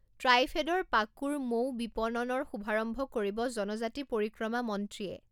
ট্ৰাইফেডৰ পাকুৰ মৌও বিপণনৰ শুভাৰম্ভ কৰিব জনজাতি পৰিক্ৰমা মন্ত্ৰীয়ে